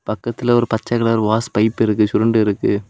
பக்கத்துல ஒரு பச்சை கலர் வாஸ் பைப் இருக்கு சுருண்டு இருக்கு.